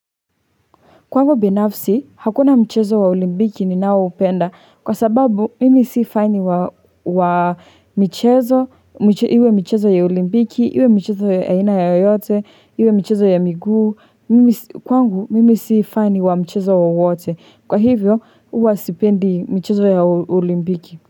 Kwangu binafsi, hakuna mchezo wa olimbiki ninao upenda, kwa sababu mimi si faini wa mchezo, iwe mchezo ya olimbiki, iwe mchezo ya ina yoyote, iwe mchezo ya miguu kwangu mimi si fani wa mchezo wowote. Kwa hivyo, uwa sipendi mchezo ya olimbiki.